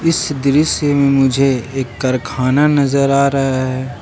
इस दृश्य में मुझे एक कारखाना नजर आ रहा है।